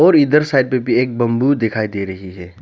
और इधर साइड पे भी एक बंबू दिखाई दे रही है।